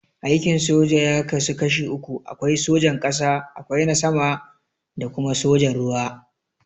Aikin soja ya kasu kashi uku, akwai sojan ƙasa, akwai na sama da kuma sojan ruwa.